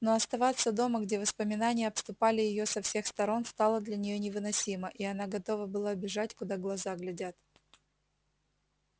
но оставаться дома где воспоминания обступали её со всех сторон стало для неё невыносимо и она готова была бежать куда глаза глядят